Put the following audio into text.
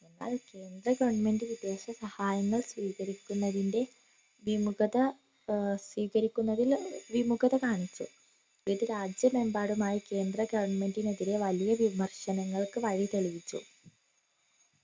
ആഹ് കേന്ദ്ര government സഹായങ്ങൾ സ്വീകരിക്കുന്നതിൻറെ വിമുഖത ഏർ സ്വീകരിക്കുന്നതിൽ വിമുഖത കാണിച്ചു ഇത് രാജ്യമെമ്പാടുമായി കേന്ദ്ര government നെതിരെ വലിയ വിമർശനങ്ങൾക്കു വഴി തെളിയിച്ചു